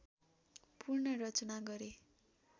पुनर्रचना गरे